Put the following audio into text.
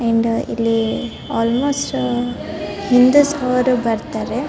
End ಇಲ್ಲಿ almost Hindus ಅವರು ಬರ್ತಾರೆ .